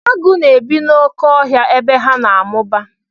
Agụ na-ebi n'oké ọhịa ebe ha na-amụba.